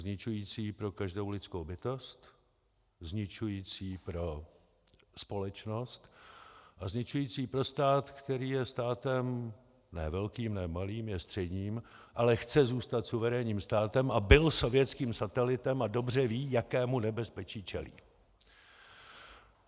Zničující pro každou lidskou bytost, zničující pro společnost a zničující pro stát, který je státem ne velkým, ne malým, je středním, ale chce zůstat suverénním státem a byl sovětským satelitem a dobře ví, jakému nebezpečí čelí.